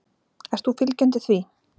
Ert þú fylgjandi því?